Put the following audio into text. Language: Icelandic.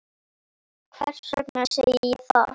Hvers vegna segi ég það?